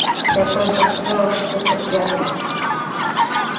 я просто так сказала что ты подглядывал